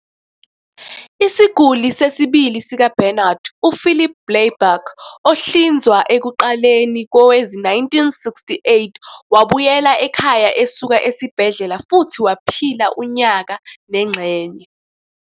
Isiguli sesibili sikaBarnard, UPhilip Blaiberg, ohlinzwa ekuqaleni kowezi-1968, wabuyela ekhaya esuka esibhedlela futhi waphila unyaka nengxenye.